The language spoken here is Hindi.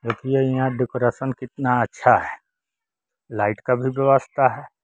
देखिए यहां डेकोरेशन कितना अच्छा है लाइट का भी व्यवस्था है।